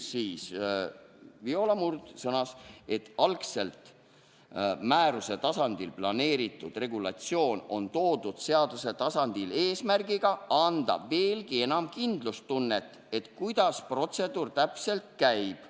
Viola Murd sõnas, et algselt määruse tasandile planeeritud regulatsioon on toodud seaduse tasandile eesmärgiga anda veelgi enam kindlustunnet, et kuidas protseduur täpselt käib.